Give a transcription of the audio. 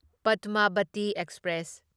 Padmavati express